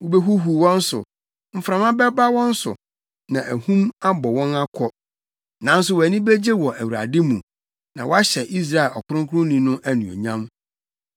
Wubehuhuw wɔn so, mframa bɛma wɔn so, na ahum abɔ wɔn akɔ. Nanso wʼani begye wɔ Awurade mu na woahyɛ Israel Ɔkronkronni no anuonyam.